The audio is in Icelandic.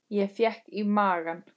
Ég fékk í magann.